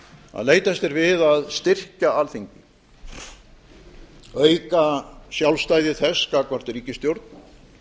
að leitast er við að styrkja alþingi auka sjálfstæði þess gagnvart ríkisstjórn